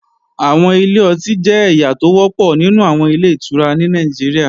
Àwọn ilé ọtí jẹ́ ẹ̀yà tó wọ́pọ̀ nínú àwọn Ilé-ìtura ní Nàìjíríà